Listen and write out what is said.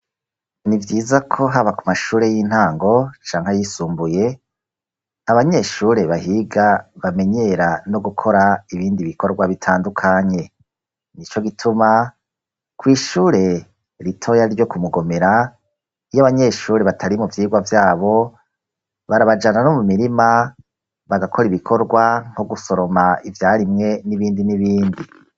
Nivyiza ko haba ku mashure y'intango canke yisumbuye, abanyeshure bahiga bamenyera no gukora ibindi bikorwa bitandukanye, nico gituma kw’ishure ritoya ryo Kumugomera, iyo abanyeshure batari mu vyigwa vyabo, barabajana no mu mirima bagakora ibikorwa nko gusoroma ivyarimwe n'ibindi n'ibindi.